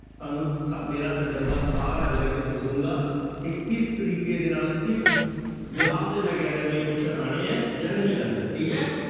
ਤੁਹਾਨੂੰ ਸ ਮੇਰਾ ਤਜ਼ਰਬਾ ਸਾਰਾ ਜਿਹੜਾ ਕਿ ਦੱਸਾਂਗਾ ਕਿ ਕਿਸ ਤਰੀਕੇ ਦੇ ਨਾਲ ਕਿਸ ਤੇ ਮੈਂ ਕਹਿ ਰਿਹਾਂ ਵੀ ਇਹ question ਆਉਣੇ ਹੈ ਜਾਂ ਨਹੀਂ ਆਉਣੇ ਹੈ, ਠੀਕ ਹੈ।